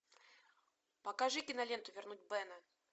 покажи киноленту вернуть бена